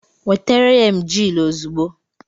Nwetere ya emgyl ozugbo!